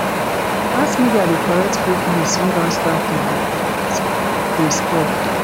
mass media de correct fake news wey don start to dey de spread